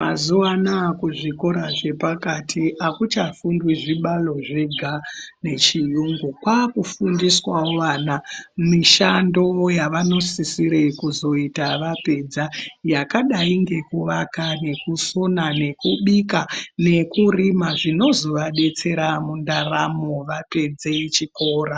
Mazuva anaya kuzvikora zvepakati hakuchafundwi zvibalo zvega nechiyungu. Kwakufundiswavo vana mishando yavanosisira kuzoita vapedza yakadai nekuvaka nekusona nekubika nekurima zvinozovabetsere mundaramo vapedze chikora.